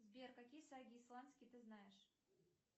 сбер какие саги исландские ты знаешь